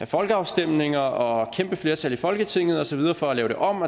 folkeafstemninger og kæmpe flertal i folketinget og så videre for at lave det om